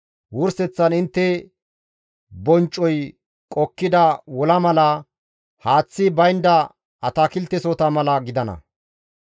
Wurseththan intte bonccoy qokkida wola mala, haaththi baynda atakiltesohota mala gidana.